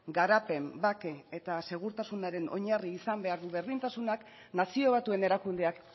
garapen bake eta segurtasunaren oinarri izan behar du berdintasunak nazio batuen erakundeak